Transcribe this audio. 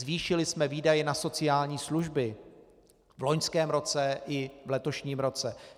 Zvýšili jsme výdaje na sociální služby v loňském roce i v letošním roce.